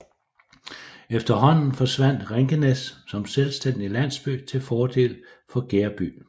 Efterhånden forsvandt Rinkenæs som selvstændig landsby til fordel til Gereby